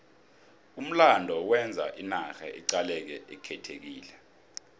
umlando wenza inarha iqaleke ikhethekile